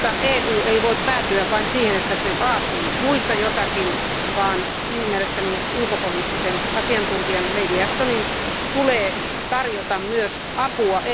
EU ei voi päätyä vain siihen, että se vaatii muilta jotakin, vaan mielestäni ulkopoliittisen asiantuntijan Lady Ashtonin tulee tarjota myös apua.